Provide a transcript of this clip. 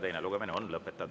Teine lugemine on lõpetatud.